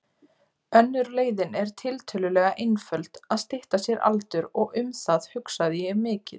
Önnur leiðin er tiltölulega einföld, að stytta sér aldur, og um það hugsaði ég mikið.